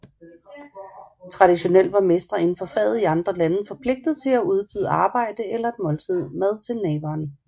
Traditionelt var mestre inden for faget i andre lande forpligtet til at tilbyde arbejde eller et måltid mad til naveren